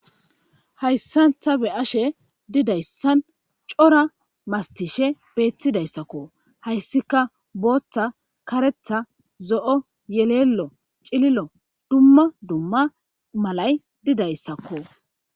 hayssan ta be ashe didayssan cora mastishe beettidayssakko hayssika booththa karetha zo7o yeleelo cililo dumma dumma malay didayssakko